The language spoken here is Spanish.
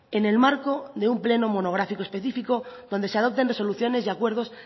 en el marco de un pleno monográfico específico donde se adopten resoluciones y acuerdos